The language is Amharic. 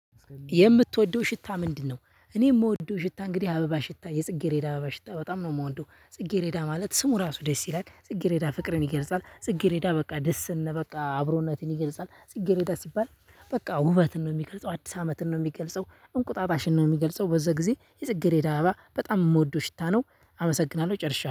የምትወደው ሽታ ምንድ ነው? እኔ የምወደው ሽታ እንግዲህ አበባ ሽታ የጽጌሬዳ አበባ ሽታ በጣም ነው የምወደው ጽጌሬዳ ማለት ስሙ ራሱ ደስ ይላል ጽጌሬዳ ፍቅርን ይገልጻል ጽጌሬዳ በቃ ደስን በቃ አብሮነትን ይገልጻል ጽጌሬዳ ሲባል በቃ ውበትን ነው የሚገልጸው አዲስ አመትን ነው የሚገልጸው እንቁጣጣሽን ነው የሚገልጸው በዛ ጊዜ የጽጌሬዳ አበባ በጣም የምወደው ሽታ ነው አመሰግናለሁ ጨርሻለሁ።